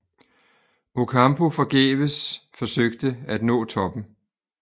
Ocampo forgæves forsøgte at nå toppen